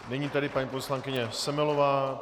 Nyní tedy paní poslankyně Semelová.